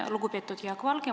Lugupeetud Jaak Valge!